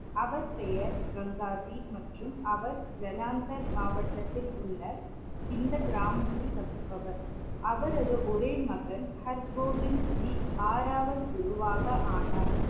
அவர் பெயர் கங்காஜி மற்றும் அவர் ஜலந்தர் மாவட்டத்தில் உள்ள இந்த கிராமத்தில் வசிப்பவர். அவரது ஒரே மகன் ஹர்கோவிந்த் ஜி ஆறாவது குருவாக ஆனார்.